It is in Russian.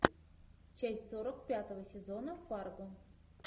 часть сорок пятого сезона фарго